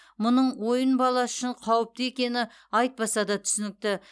мұның ойын баласы үшін қауіпті екені айтпаса да түсінікті